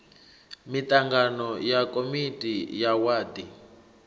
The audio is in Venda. miṱangano ya komiti ya wadi